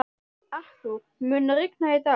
Arthúr, mun rigna í dag?